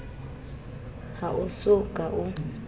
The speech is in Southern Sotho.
ha o so ka o